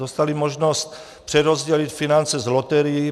Dostali možnost přerozdělit finance z loterií.